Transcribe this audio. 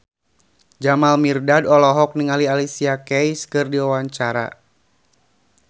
Jamal Mirdad olohok ningali Alicia Keys keur diwawancara